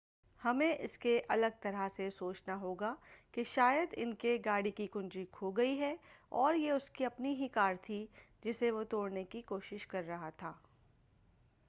ہمیں اسکے الگ طرح سے سوچنا ہوگا کہ شاید ان کے گاڑی کی کنجی کھو گئی ہے اور یہ اسکی اپنی ہی کار تھی جسے وہ توڑنے کی کوشش کر رہا تھا